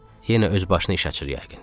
Yenə öz başına iş açır yəqin.